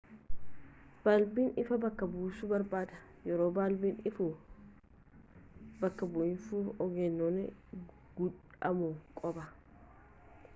baalbiin ifaa bakka buusuu barbaada yeroo baalbiin ifaa bakka buufamu of eeggannoon gudhamuu qaba